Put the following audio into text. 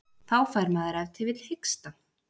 Þá fær maður ef til vill hiksta.